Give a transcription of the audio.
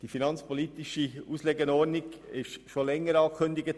Die finanzpolitische Auslegeordnung wurde schon vor längerer Zeit angekündigt.